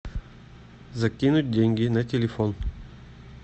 закинуть деньги на телефон